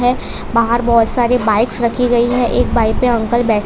बाहर बहुत सारे बाइक्स रखी गई है एक बाइक पर अंकल बै--